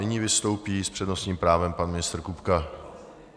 Nyní vystoupí s přednostním právem pan ministr Kupka.